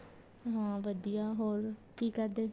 ਹਾਂ ਵਧੀਆ ਹੋਰ ਕੀ ਕਰਦੇ